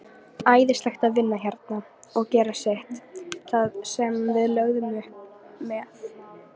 Æðislegt að vinna hérna og gera sitt, það sem við lögðum upp með.